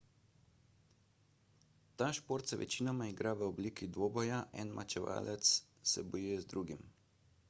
ta šport se večinoma igra v obliki dvoboja en mečevalec se bojuje z drugim